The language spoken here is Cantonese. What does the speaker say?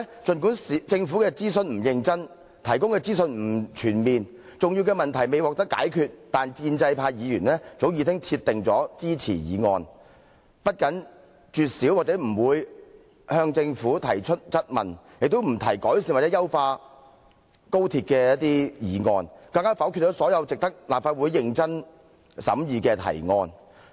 儘管政府的諮詢不認真、提供的資訊不全面，以及重要的問題未獲解決，但建制派議員早已鐵定支持《條例草案》，不僅絕少或不向政府提出質問，也不提改善或優化高鐵的議案，更否決了所有值得立法會認真審議的提案。